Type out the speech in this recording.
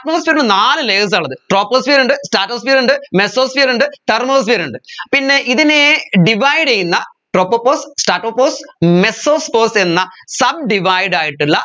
atmosphere ല് നാല് layers ആ ഉള്ളത് troposphere ഉണ്ട് stratosphere ഉണ്ട് mesosphere ഉണ്ട് thermosphere ഉണ്ട് പിന്നെ ഇതിനെ divide ചെയ്യുന്ന tropopause stratopause mesopause എന്ന sub divide ആയിട്ടുള്ള